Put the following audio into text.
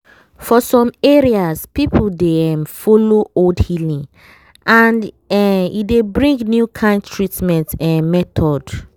for some areas people dey um follow old healing and um e dey bring new kind treatment em method.